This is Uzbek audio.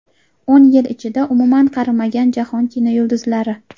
O‘n yil ichida umuman qarimagan jahon kinoyulduzlari .